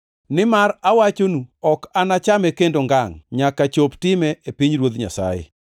Nimar awachonu, ok anachame kendo ngangʼ, nyaka chop time e pinyruodh Nyasaye.”